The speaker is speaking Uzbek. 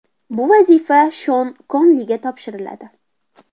Bu vazifa Shon Konliga topshiriladi.